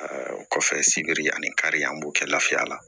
o kɔfɛ sibiri ani kari an b'o kɛ lafiya la